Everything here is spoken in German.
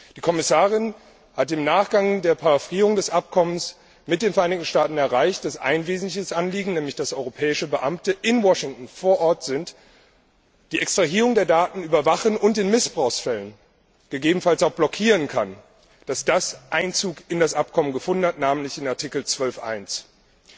Die Kommissarin hat im Nachgang der Paraphierung des Abkommens mit den Vereinigten Staaten erreicht, dass ein wesentliches Anliegen nämlich dass europäische Beamte in Washington vor Ort sind, die Extrahierung der Daten überwachen und in Missbrauchsfällen gegebenenfalls auch blockieren können Eingang in das Abkommen gefunden hat, namentlich in Artikel 12 Absatz 1.